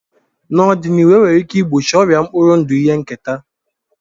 N'ọdịnihu, e nwere ike igbochi ọrịa mkpụrụ ndụ ihe nketa.